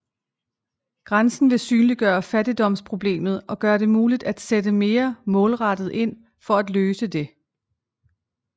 Grænsen vil synliggøre fattigdomsproblemet og gøre det muligt at sætte mere målrettet ind for at løse det